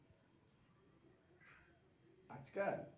আজ কাল?